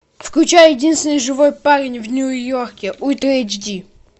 включай единственный живой парень в нью йорке ультра эйч ди